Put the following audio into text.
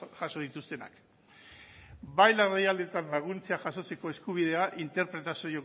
jaso dituenak bai larrialdietan laguntza jasotzeko eskubidea